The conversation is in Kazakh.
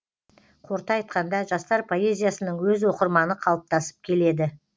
қорыта айтқанда жастар поэзиясының өз оқырманы қалыптасып келеді